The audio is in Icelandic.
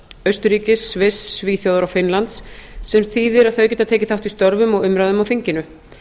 austurríkis sviss svíþjóðar og finnlands sem þýðir að þau geta tekið þátt í störfum og umræðum á þinginu